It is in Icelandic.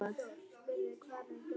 Þar höfðu hann og